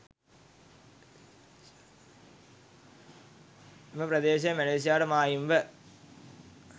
එම ප්‍රදේශය මැලේසියාවට මායිම්ව